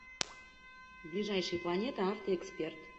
ближайший планетаавтоэксперт